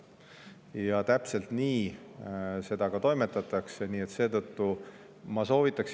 Ja täpselt nii sellega toimetatakse.